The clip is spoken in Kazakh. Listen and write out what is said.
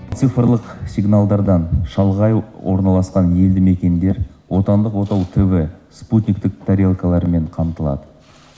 цифрлық сигналдардан шалғай орналасқан елді мекендер отандық отау тв спутниктік тарелкаларымен қамтылады